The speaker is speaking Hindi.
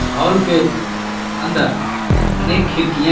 हाॅल के अंदर अनेक खिड़कियां है.